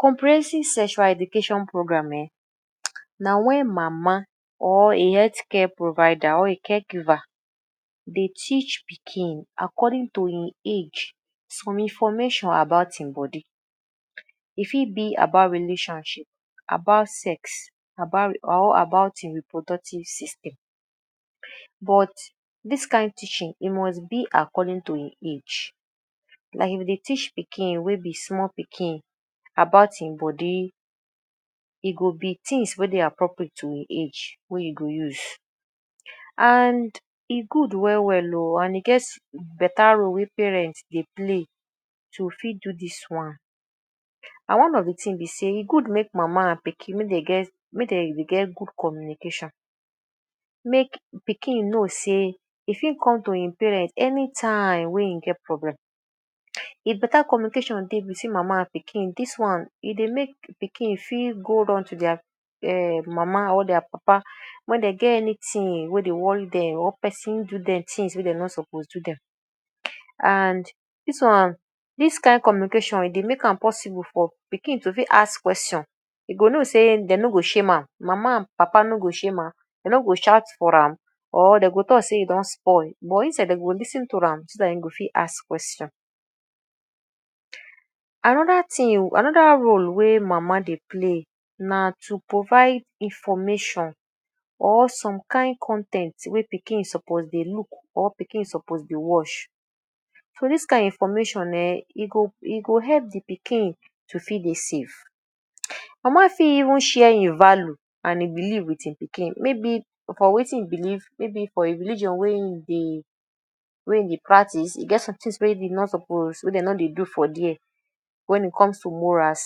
Comprehensive sexual educative program na wen mama or a health care provider or a caregiver dey teach pikin according to im age some information about im body. E fit be about relationship, about sex, about or about im reproductive system but dis kain teaching it must be about according to im age. Like you go dey teach pikin wey be small pikin about im body, e go be things wey dey appropriate to im age wey you go use. And e good well well oo and e get better role wey parents dey play to fit do dis one and one of de thing be sey e good make de mama and pikin, make dem get make dem get good communication. Make pikin know sey e fit come to im parents anytime wey e get problem. If better communication dey between mama and pikin, dis one, e dey make pikin feel good unto their mama or their papa wen dey get anything wey dey worry dem or person do dem things wey dem no suppose do dem. And dis one, dis kain communication e dey make am possible for pikin to fit ask question. E go know sey dem no go shame am, mama and papa no go shame am, dey no go shout for am or dey go talk sey e don spoil but instead, dey go lis ten to am so dat e go fit ask question. Another thing, another role wey mama dey play na to provide information or some kain con ten t wey pikin suppose dey look or pikin suppose dey watch. So dis kain information um e go e go help de pikin to fit dey safe. Mama fit even share im value and im belief wit im pikin; maybe for wetin e belief, maybe for religion wey e dey wey e dey practice. E get somethings wey e no suppose, wey dey no dey do for there wen it comes to morals.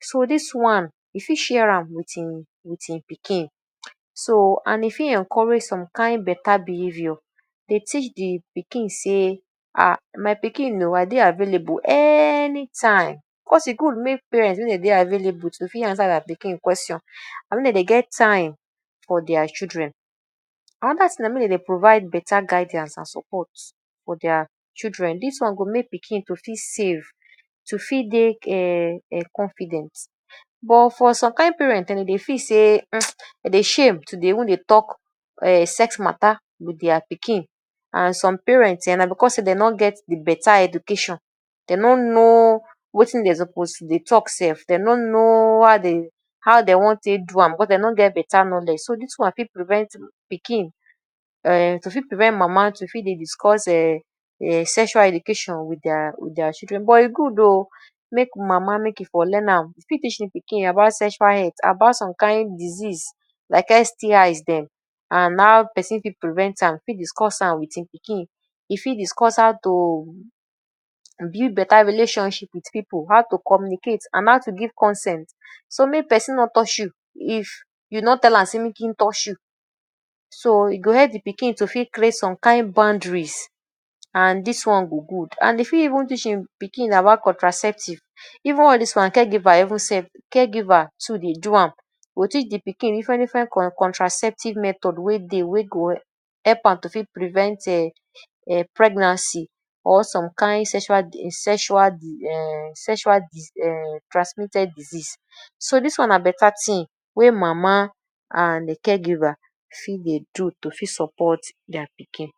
So dis one, e fit share wit im wit im pikin. So and e fit encourage some kain better behavior, dey teach de pikin sey, “my pikin I dey available anytime”. Cause e good make parents, make dem dey available to fit answer their pikin question and make dem dey get time for their children. Another thing na make dem dey provide better guidance and support for their children. Dis one go make pikin to feel safe, to fit dey um confident but for some kain parents dem dey feel sey dem dey shame to even dey talk sex matter wit their pikin. And some parents um na because sey dey no get better education, dem no know wetin dem suppose dey talk sef. Dem no know how dey, how dey wan take do am because dey no get better knowledge. So dis one fit prevent pikin um to fit prevent mama to fit dey discuss um sexual education wit their wit their children but e good oo make mama, make e for learn am. E fit teach pikin about sexual health, about some kain disease like STIs dem and how person fit prevent am, e fit discuss am wit im pikin. E fit discuss how to build better relationship wit pipu, how to communicate and how to give consent. So make person no touch you if you no tell am sey make im touch you. So e go help de pikin to fit create some kain boundaries and dis one go good. And she even teach im pikin about contraceptive. Even all dis one caregiver even sef, caregiver too dey do am. E go teach de pikin different different? contraceptive method wey dey, wey go help am to fit prevent um pregnancy or some kain sexual um sexual? um sexual um transmitted disease. So dis one na better thing wey mama and caregiver fit dey do to fit support their pikin.